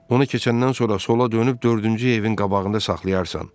Onu keçəndən sonra sola dönüb dördüncü evin qabağında saxlayarsan.